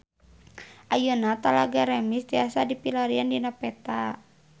Ayeuna Talaga Remis tiasa dipilarian dina peta